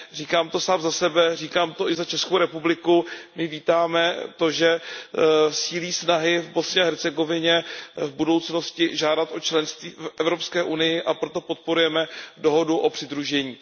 Říkám to sám za sebe, říkám to i za Českou republiku. My vítáme to, že sílí snahy v Bosně a Hercegovině v budoucnosti žádat o členství v Evropské unii, a proto podporujeme dohodu o přidružení.